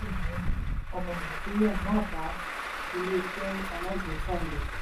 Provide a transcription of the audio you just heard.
ọmọ nàìjíríà máa bá iléeṣẹ́ alágbèéká lọ.